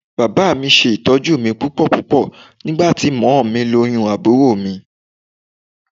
Bàbá mi ṣe ìtọ́jú mi púpọ̀púpọ̀ nígbà tí mọ́mọ́ mi lóyún àbúrò mi